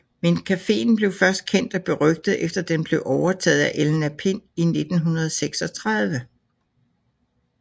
Men cafeen blev først kendt og berygtet efter den blev overtaget af Elna Pind i 1936